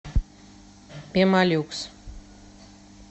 пемолюкс